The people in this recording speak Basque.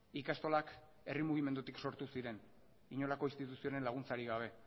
ikastolak herri mugimendutik sortu ziren inolako instituzioren laguntzarik gabe